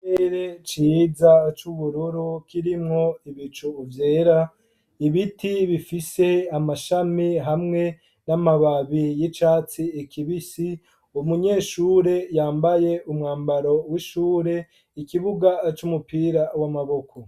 Ikirere ciza c'ubururu kirimwo ibicu vyera, ibiti bifise amashami hamwe n'amababi y'icatsi kibisi, umunyeshure yambaye umwambaro w'ishure, ikibuga c'umupira w'amaboko.